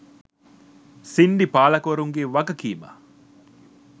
සින්ඩි පාලකවරුන්ගේ වගකීම